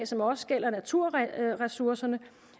som også gælder naturressourcerne